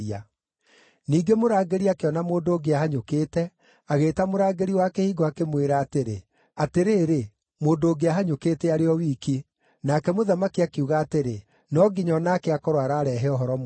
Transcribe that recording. Ningĩ mũrangĩri akĩona mũndũ ũngĩ ahanyũkĩte, agĩĩta mũrangĩri wa kĩhingo, akĩmwĩra atĩrĩ, “Atĩrĩrĩ, mũndũ ũngĩ ahanyũkĩte arĩ o wiki!” Nake mũthamaki akiuga atĩrĩ, “No nginya o nake akorwo ararehe ũhoro mwega.”